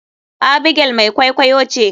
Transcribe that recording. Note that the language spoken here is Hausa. Abigail mai kwaikwaiyo ce.